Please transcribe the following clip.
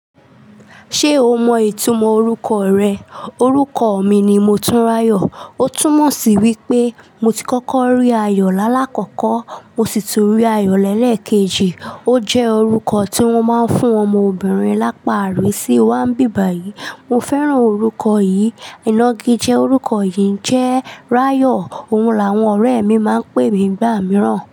Ṣé o mọ ìtumọ̀ orúkọ rẹ? Orúkọ mi ni Motunrayo. Ó túmọ̀ sí wípé mo ti kọ́kọ́ rí ayọ̀ lálákọ̀kọ́ mo sì ti rí ayọ̀ lẹ́ẹ̀kẹ́jì. Ó jẹ́ orúkọ tí wọ́n máa ń fún ọmọ obìnrin lápàárí sí wa bíbàyí. Mo fẹ́ràn orúkọ yìí. Ìnàgijẹ́ orúkọ yìí jẹ́ rayo. Òun làwọn ọ̀rẹ́ mi máa ń pè mí gbà mìíràn.